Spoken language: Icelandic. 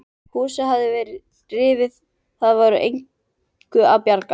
Húsið hafði verið rifið, það var engu að bjarga.